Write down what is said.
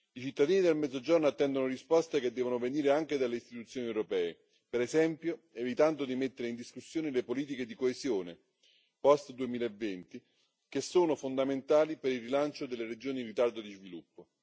I cittadini del Mezzogiorno attendono risposte che devono venire anche dalle istituzioni europee, per esempio evitando di mettere in discussione le politiche di coesione post 2020, che sono fondamentali per il rilancio delle regioni in ritardo di sviluppo.